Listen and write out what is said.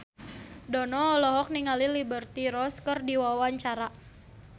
Dono olohok ningali Liberty Ross keur diwawancara